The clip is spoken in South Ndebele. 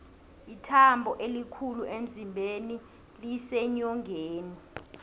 ithambo elikhulu emzimbeni liseenyongeni